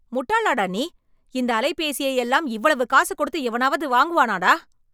முட்டாளாடா நீ? இந்த அலைபேசியையெல்லாம் இவ்வளவு காசு கொடுத்து எவனாவது வாங்குவானாடா!